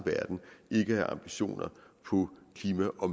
have ambitioner på klima og